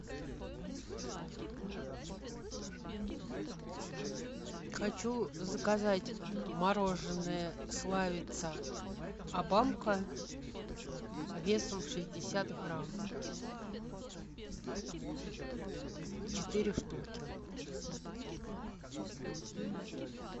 хочу заказать мороженое славица обамка весом в шестьдесят грамм четыре штуки